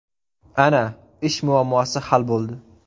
Ana, ish muammosi hal bo‘ldi!